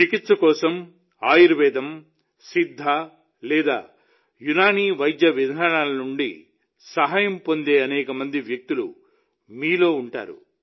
చికిత్స కోసం ఆయుర్వేదం సిద్ధ లేదా యునాని వైద్య విధానాల నుండి సహాయం పొందే అనేక మంది వ్యక్తులు మీలో ఉంటారు